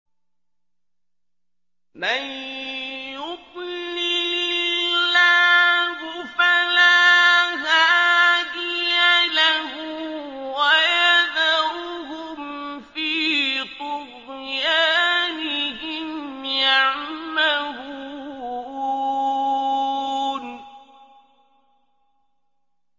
مَن يُضْلِلِ اللَّهُ فَلَا هَادِيَ لَهُ ۚ وَيَذَرُهُمْ فِي طُغْيَانِهِمْ يَعْمَهُونَ